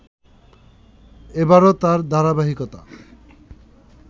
এবারো তার ধারাবাহিকতা